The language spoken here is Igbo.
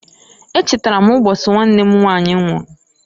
E chatara m mbosi nwanne m nwanyị nwụru.